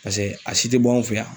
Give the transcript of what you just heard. Paseke a si te bɔ anw fɛ yan.